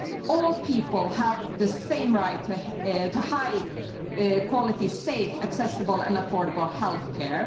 All people have the same right to high quality, safe, accessible and affordable health care.